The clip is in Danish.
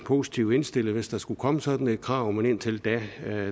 positivt indstillet hvis der skulle komme sådan et krav men indtil da